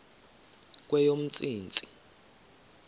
kweyomntsintsi